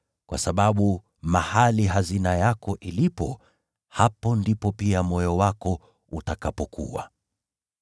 Kwa sababu mahali hazina yako ilipo, hapo ndipo pia moyo wako utakapokuwa.